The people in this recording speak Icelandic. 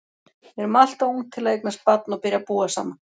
Við erum alltof ung til að eignast barn og byrja að búa saman.